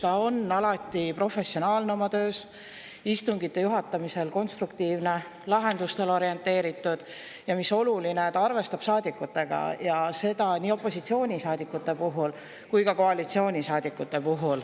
Ta on alati oma töös professionaalne, istungite juhatamisel konstruktiivne, lahendustele orienteeritud, ja mis oluline, ta arvestab saadikutega, nii opositsioonisaadikute kui ka koalitsioonisaadikutega.